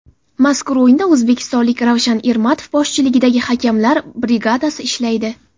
Mazkur o‘yinda o‘zbekistonlik Ravshan Ermatov boshchiligidagi hakamlar brigadasi ishlaydi.